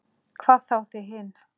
Hvað þá þið hin.